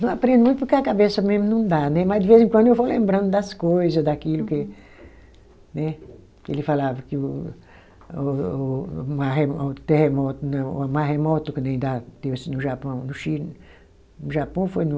Não aprende muito porque a cabeça mesmo não dá né, mas de vez em quando eu vou lembrando das coisa, daquilo que né. Ele falava que o o o maremoto, terremoto, não o maremoto que nem dá deu assim no Japão, no Chile, no Japão ou foi no...